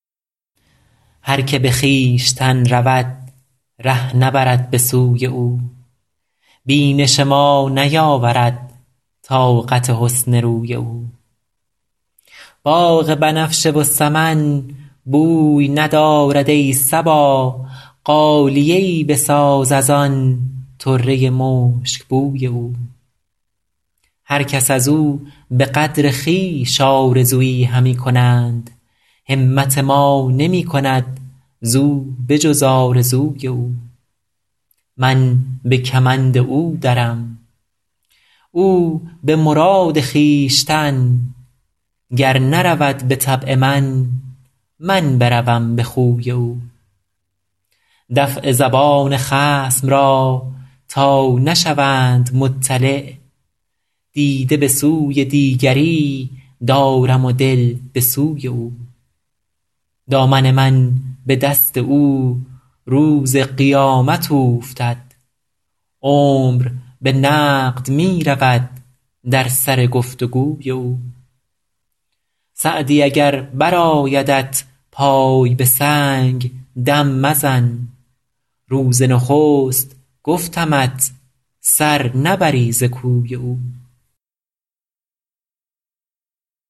هر که به خویشتن رود ره نبرد به سوی او بینش ما نیاورد طاقت حسن روی او باغ بنفشه و سمن بوی ندارد ای صبا غالیه ای بساز از آن طره مشکبوی او هر کس از او به قدر خویش آرزویی همی کنند همت ما نمی کند زو به جز آرزوی او من به کمند او درم او به مراد خویشتن گر نرود به طبع من من بروم به خوی او دفع زبان خصم را تا نشوند مطلع دیده به سوی دیگری دارم و دل به سوی او دامن من به دست او روز قیامت اوفتد عمر به نقد می رود در سر گفت و گوی او سعدی اگر برآیدت پای به سنگ دم مزن روز نخست گفتمت سر نبری ز کوی او